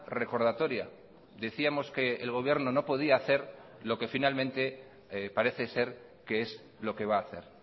recordatoria decíamos que el gobierno no podía hacer lo que finalmente parece ser que es lo que va a hacer